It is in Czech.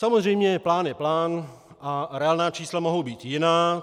Samozřejmě, plán je plán a reálná čísla mohou být jiná.